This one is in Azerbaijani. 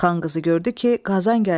Xan qızı gördü ki, Qazan gəlir.